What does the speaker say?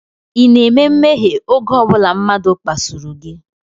Ị na-eme mmehie oge ọ bụla mmadụ kpasuru gị?